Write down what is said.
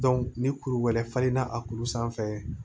ni kuru wɛrɛ falenna a kuru sanfɛ